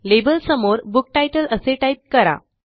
लेबलसमोर book तितले असे type करा